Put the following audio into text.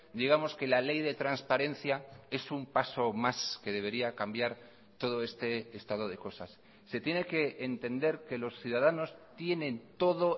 digamos que la ley de transparencia es un paso más que debería cambiar todo este estado de cosas se tiene que entender que los ciudadanos tienen todo